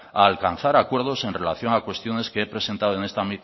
a alcanzar acuerdos en relación a cuestiones que he presentado en esta